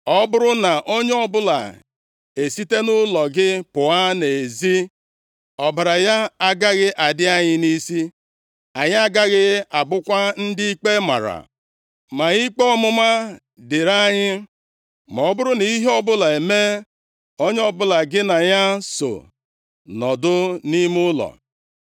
Ọ bụrụ na onye ọbụla esite nʼụlọ gị pụọ nʼezi, ọbara ya agaghị adị anyị nʼisi, anyị agaghị abụkwa ndị ikpe mara. Ma ikpe ọmụma dịrị anyị ma ọ bụrụ nʼihe ọbụla emee onye ọbụla gị na ya so nọdụ nʼime ụlọ.